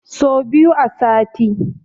So biyu a sati